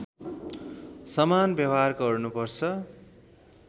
समान व्यवहार गर्नुपर्छ